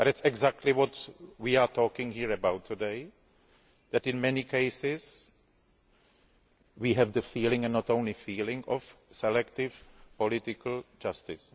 but this is exactly what we are talking about here today that in many cases we have the feeling and not only the feeling of selective political justice.